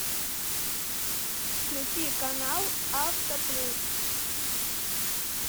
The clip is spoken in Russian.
включи канал авто плюс